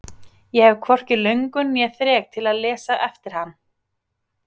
Ég hef hvorki löngun né þrek til að lesa eftir hann.